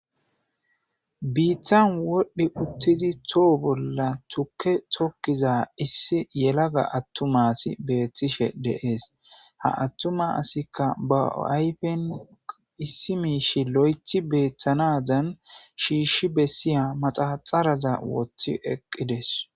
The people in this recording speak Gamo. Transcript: biittan wodhdhi uttidi too bolla tukke tokkiza issi yelaga attuma asi beettishe de7ees ha attuma asikka ba ayfen issi miishi lo7ethi beettanadan shiishshi bessiya manaxeraza woththi eqqides